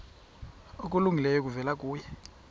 okulungileyo kuvela kuye